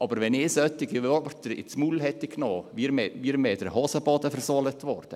Aber wenn ich solche Worte in den Mund genommen hätte, wäre mir in der damaligen Zeit der Hosenboden versohlt worden.